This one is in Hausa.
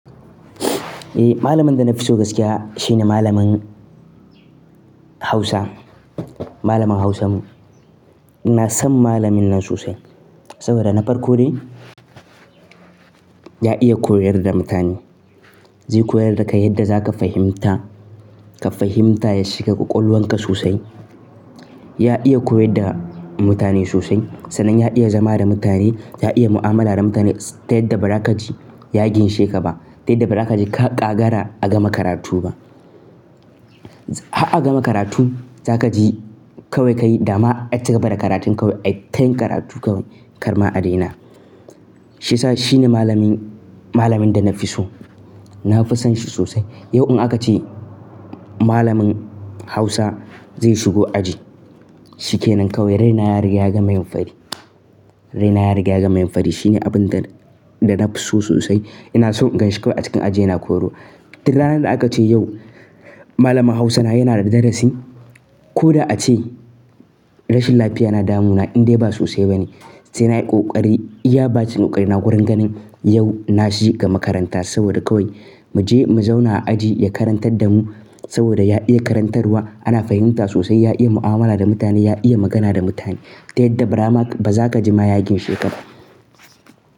Eh, malamin da na fi so gaskiya shine malamin Hausa. Malamin Hausan mu. Ina son malamin nan sosai saboda na farko dai, ya iya koyar da mutane. Zai koyar da ka yadda za ka fahimta, ka fahimta ya shiga ƙaƙoluwan ka sosai. Ya iya koyar da mutane sosai, sannan ya iya zama da mutane. Ya iya mu'amala da mutane, ta yadda ba za ka ji ya ginshe ka ba. Ta yadda ba za ka ji ka ƙagara a gama karatu ba. Haka a gama karatu, za ka ji kawai ka yi dama. Ai, ka gama da karatun ka wai, ai tayin karatu kawai kar ma a daina. Shi sa shine malamin, malamin da na fi so. Na fi son shi sosai. Yau in aka ce malamin Hausa zai shigo aji, shi ke nan kawai. Rainara ya riga ya gama yin fari. Rainara ya riga ya gama yin fari. Shine abin da, da na fi so sosai. Ina son ganshi kawai a cikin aji yana koyarwa. Tun ranar da aka ce yau malamin Hausa na yana da darasi. Ko da ace rashin lafiya na damuna in dai ba sosai ba ne, sai na yi ƙoƙari. Ya bace ƙoƙari na wurin ganin yau na shi ga makaranta saboda kawai mu je mu zauna a aji ya karantar da mu saboda ya iya karantarwa. Ana fahimta sosai. Ya iya mu'amala da mutane, ya iya magana da mutane. Ta yadda ba za ka ji ma ya ginshe ka ba.